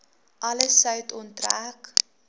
alle sout onttrek